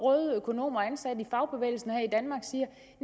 røde økonomer ansat i fagbevægelsen